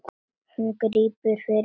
Hún grípur fyrir eyrun.